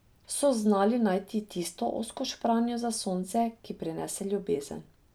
So znali najti tisto ozko špranjo za sonce, ki prinese ljubezen.